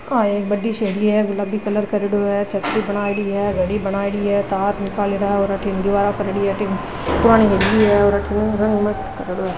आ एक बड़ी सी हवेली है गुलाबी कलर करेडो है छतरी बनायेड़ी है घडी बनायेड़ी है तार निकले ला है और अठीने दिवारा पर अठीन पुरानी हवेली है और अठीन रंग मस्त करेडो है।